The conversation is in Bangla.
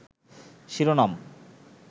শিরোনাম